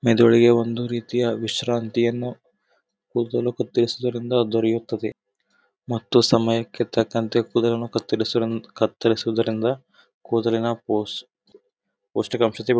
ಮೆದುಳಿಗೆ ಒಂದು ರೀತಿಯ ವಿಶ್ರಾಂತಿಯನ್ನು ಕೂದಲು ಕತ್ತರಿಸುದರಿಂದ ದೊರೆಯುತ್ತದೆ ಮತ್ತೆ ಸಮಯಕ್ಕೆ ತಕ್ಕಂತೆ ಕೂದಲನ್ನು ಕತ್ತರಿಸುದ ಕತ್ತರಿಸುದರಿಂದ ಕೂದಲಿನ ಪೋಷ ಪೌ ಪೌಷ್ಟಿಕಾಂಶ--